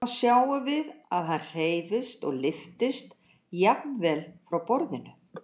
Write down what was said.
Þá sjáum við að hann hreyfist og lyftist jafnvel frá borðinu.